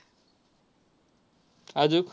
अजून?